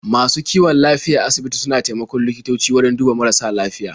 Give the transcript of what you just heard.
Masu kiwon lafiya a asibiti suna taimakon likitoci wajen duba marasa lafiya.